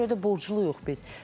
Buna görə də borcluyuq biz.